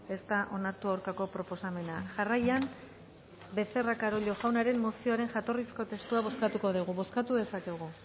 ez da onartu aurkako proposamena jarraian becerra carollo jaunaren mozioaren jatorrizko testua bozkatuko dugu bozkatu dezakegu